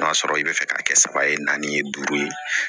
N'a sɔrɔ i bɛ fɛ ka kɛ saba ye naani ye duuru ye